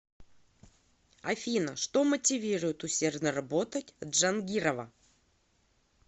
афина что мотивирует усердно работать джангирова